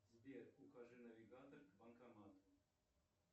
сбер укажи навигатор к банкомату